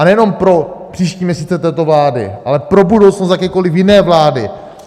A nejenom pro příští měsíce této vlády, ale pro budoucnost jakékoliv jiné vlády.